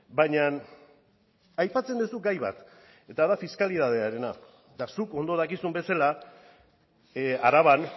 baina aipatzen duzu gai bat eta da fiskalitatearena eta zuk ondo dakizun bezala araban